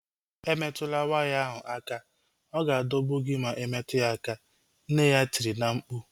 Emetukwala waya ahu aka! Ọ ga-adọgbu gị ma imetụ ya aka, nne ya tiri na-mkpu